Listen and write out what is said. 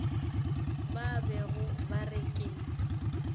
ba bego ba re ke